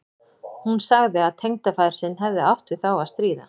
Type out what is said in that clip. Hún sagði að tengdafaðir sinn hefði átt við þá að stríða.